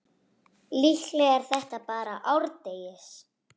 Líklega er þetta bara árdegis